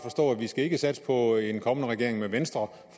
ikke skal satse på en kommende regering med venstre